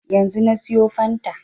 Yanzu na siyo fanta